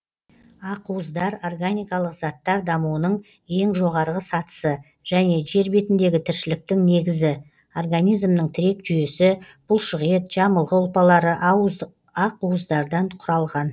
ақуыздар органикалық заттар дамуының ең жоғарғы сатысы және жер бетіндегі тіршіліктің негізі организмнің тірек жүйесі бұлшықет жамылғы ұлпалары ақуыздардан құралған